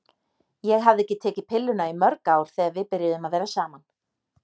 Ég hafði ekki tekið pilluna í mörg ár þegar við byrjuðum að vera saman.